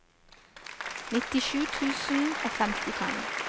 nittisju tusen og femtifem